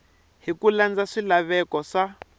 hi ku landza swilaveko swa